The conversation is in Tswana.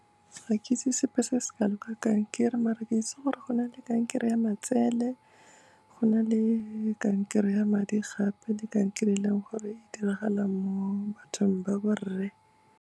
Ga ke itse sepe se se kalo ka kankere, mare ke itse gore go na le kankere ya matsele, go na le kankere ya madi gape, le kankere e leng gore e diragala mo bathong ba borre.